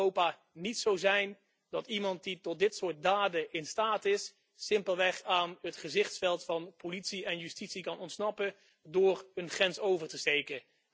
Het mag in Europa niet zo zijn dat iemand die tot dit soort daden in staat is, simpelweg aan het gezichtsveld van politie en justitie kan ontsnappen door een grens over te steken.